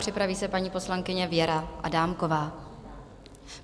Připraví se paní poslankyně Věra Adámková.